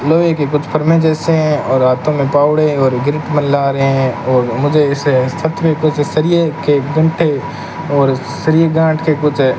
लोहे की कुछ फरमे जैसे हैं और हाथों में पांवड़े हैं और ग्रिप में ला रहे हैं और मुझे इसे साथ में कुछ सरिए के गांठे और सरिए गांठ के कुछ --